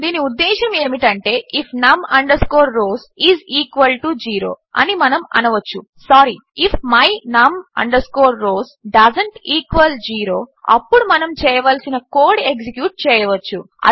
దీని ఉద్దేశ్యము ఏమిటంటే if num rows is equal to zero అని మనము అనవచ్చు sorry if my num rows doesn't equal zero అప్పుడు మనము చేయవలసిన కోడ్ ఎక్సిక్యూట్ చేయవచ్చు